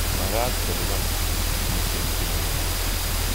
Makat kolipan piik ropisyek che maimuchi.